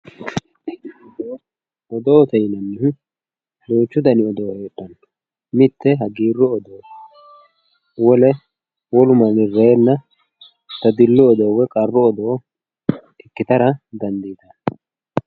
Odoote yineemohu duuchu dano odoo hedhano mitte hagiiru odooti wole wolu mani reena dadillu odoo woyi qarru odoo ikitano